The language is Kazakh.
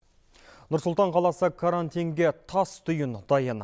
нұр сұлтан қаласы карантинге тас түйін дайын